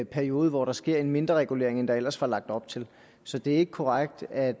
periode hvor der sker en mindre regulering end der ellers var lagt op til så det er ikke korrekt at